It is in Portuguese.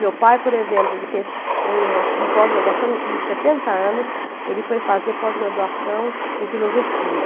Meu pai, por exemplo, ele fez uma uma pós-graduação com setenta anos, ele foi fazer pós-graduação em filosofia.